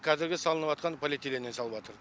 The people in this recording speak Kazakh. қазіргі салыныватқан полиэтиленнен салыватыр